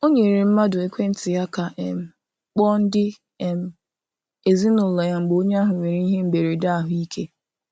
O nyere mmadụ ekwentị ya ka um kpọọ ndị um ezinaụlọ ya mgbe onye ahụ nwere ihe mberede ahụ ike.